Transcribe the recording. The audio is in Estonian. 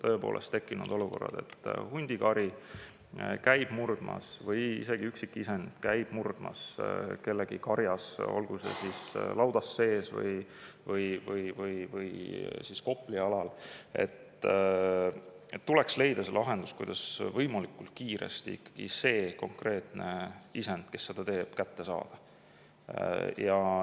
Kui on tõepoolest tekkinud olukord, et hundikari või üksik isend käib murdmas kellegi karjas, olgu see siis laudas sees või kopli alal, tuleks leida lahendus, kuidas võimalikult kiiresti ikkagi see konkreetne isend, kes seda teeb, kätte saada.